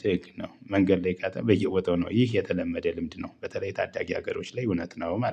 ትክክል ነው። መንገድ ላይ በየ ቦታው ነው ይህ የተለመደ ልምድ ነው። በተለይ ታዳጊ ሀገሮች ላይ እውነት ነው ማለት ነው